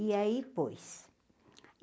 E aí, pôs.